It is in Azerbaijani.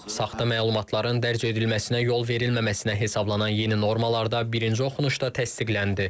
Saxta məlumatların dərc edilməsinə yol verilməməsinə hesablanan yeni normalar da birinci oxunuşda təsdiqləndi.